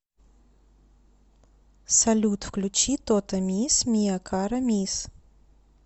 салют включи тото мисс миа кара мисс